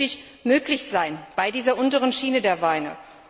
Wird das künftig möglich sein für diese untere Schiene der Weine?